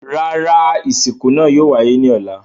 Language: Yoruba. Rárá, isinku naa yóò waye ni ọlá